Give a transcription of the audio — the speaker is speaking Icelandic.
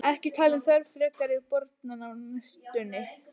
Ekki talin þörf frekari borana á næstunni.